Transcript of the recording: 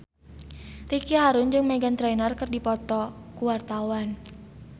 Ricky Harun jeung Meghan Trainor keur dipoto ku wartawan